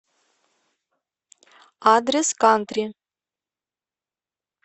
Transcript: адрес кантри